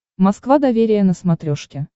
москва доверие на смотрешке